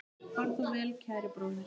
Far þú vel, kæri bróðir.